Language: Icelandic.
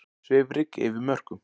Svifryk yfir mörkum